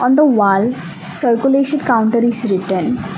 in the wall circulation counter is written.